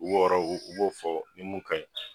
U b'o yɔrɔ, u b'o fɔ ni mun kaɲi